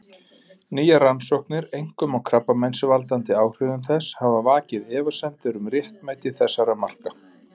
Nýjar rannsóknir, einkum á krabbameinsvaldandi áhrifum þess, hafa vakið efasemdir um réttmæti þessara marka.